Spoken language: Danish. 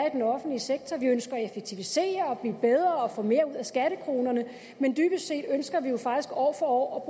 i den offentlige sektor vi ønsker at effektivisere og blive bedre og få mere ud af skattekronerne men dybest set ønsker vi jo faktisk år for år at